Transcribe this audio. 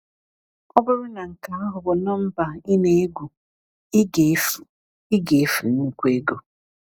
Ọ bụrụ na nke ahụ bụ nọmba ị na-egwu, ị ga-efu ị ga-efu nnukwu ego.